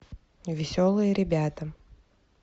веселые ребята